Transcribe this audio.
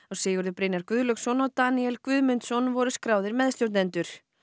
Sigurður Brynjar Guðlaugsson og Daníel Guðmundsson voru skráðir meðstjórnendur